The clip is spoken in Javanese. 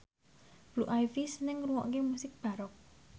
Blue Ivy seneng ngrungokne musik baroque